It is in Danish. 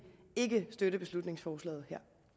ikke støtte beslutningsforslaget